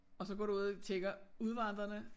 Og så går du ud og tjekker udvandrerne